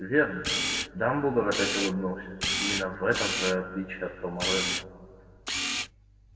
верно дамблдор опять улыбнулся именно в этом твоё отличие от тома реддла